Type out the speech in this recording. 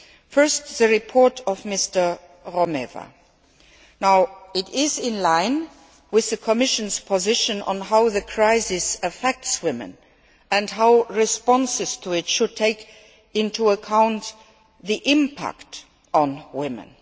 First, Mr Romeva i Rueda's report. It is line with the Commission's position on how the crisis affects women and how responses to it should take into account the impact on women.